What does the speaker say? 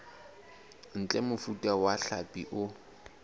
ntle mofuta wa hlapi o